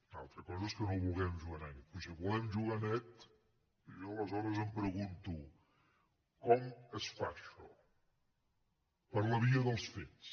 una altra cosa és que no vulguem jugar net però si volem jugar net jo aleshores em pregunto com es fa això per la via dels fets